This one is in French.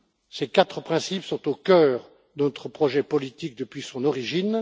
Ces quatre principes sont au cœur de notre projet politique depuis son origine.